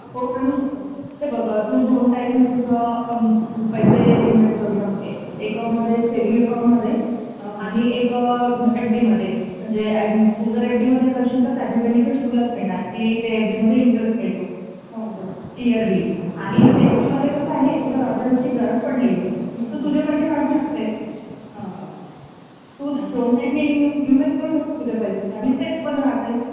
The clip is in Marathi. हो सांगू शकते हे बघ तू दोन टाईप मध्ये पैसे गुंतवू शकते एक सेविंग्स अकाउंट मध्ये आणि एक एफ डी मध्ये आणि तू जर एफ डी मध्ये करशील तर त्याचे बेनेफिट्स तुलाच मिळणार कि ते एफ डी मध्ये इंटरेस्ट मिळतो. इअरली आणि स्विंग मध्ये असा आहे कि उर्जेन्ट मध्ये अशी गरज पडली तर तू तुझे पैसे काढू शकते तू दोन साईड नि इन्व्हेस्ट करू शकते तुझे पैसे आणि सेफ पण राहते.